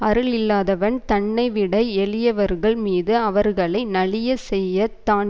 அருளில்லாதவன் தன்னைவிட எளியவர்கள் மீது அவர்களை நலியச் செய்ய தான்